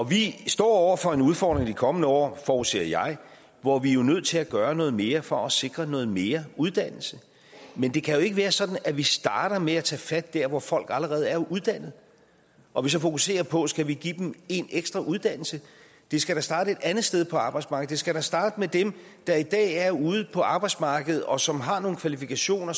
vi står over for en udfordring i de kommende år forudser jeg hvor vi jo er nødt til at gøre noget mere for at sikre noget mere uddannelse men det kan jo ikke være sådan at vi starter med at tage fat dér hvor folk allerede er uddannet og så fokuserer på at vi skal give dem en ekstra uddannelse det skal da starte et andet sted på arbejdsmarkedet det skal da starte med dem der i dag er ude på arbejdsmarkedet og som har nogle kvalifikationer